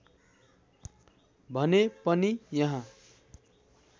भने पनि यहाँ